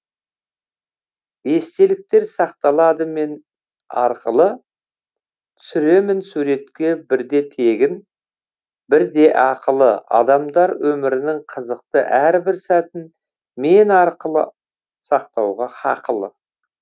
естеліктер сақталады мен арқылы түсіремін суретке бірде тегін бірде ақылы адамдар өмірінің қызықты әрбір сәтін мен арқылы сақтауға хақылы